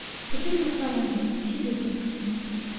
купить макароны шебекинские